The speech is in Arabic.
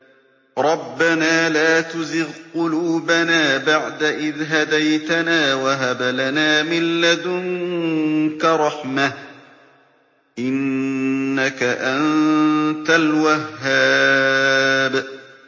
رَبَّنَا لَا تُزِغْ قُلُوبَنَا بَعْدَ إِذْ هَدَيْتَنَا وَهَبْ لَنَا مِن لَّدُنكَ رَحْمَةً ۚ إِنَّكَ أَنتَ الْوَهَّابُ